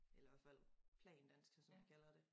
Eller hver fald plandansk som vi kalder det